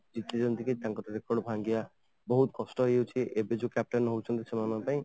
easy ନୁହେଁ ତାଙ୍କ record ଭାଙ୍ଗିବା ବହୁତ କଷ୍ଟ ହେଇଯାଉଛି ଏବେ ଯୋଉ captain ହଉଛନ୍ତି ସେମାନଙ୍କ ପାଇଁ